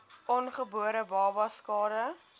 ongebore babas skade